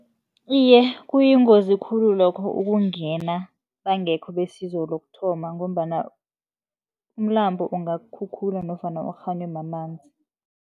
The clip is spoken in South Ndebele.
Iye, kuyingozi khulu lokho ukungena bangekho besizo lokuthoma, ngombana umlambo ungakukhukhula nofana ukghanywe mamanzi.